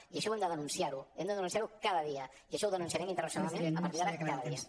i això hem de denunciar ho i hem de denunciar ho cada dia i això ho denunciarem internacionalment a partir d’ara cada dia